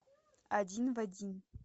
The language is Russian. один в один